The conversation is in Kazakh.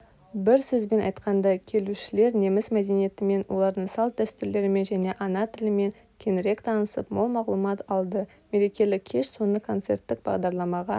бір сөзбен айтқанда келушілер неміс мәдениетімен олардың салт-дәстүрлерімен және ана тілімен кеңірек танысып мол мағлұмат алды мерекелік кеш соңы концерттік бағдарламаға